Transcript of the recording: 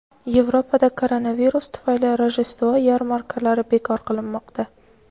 Yevropada koronavirus tufayli Rojdestvo yarmarkalari bekor qilinmoqda.